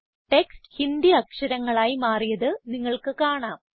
text Hindi അക്ഷരങ്ങളായി മാറിയത് നിങ്ങൾക്ക് കാണാം